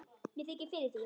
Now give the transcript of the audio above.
Mér þykir fyrir því.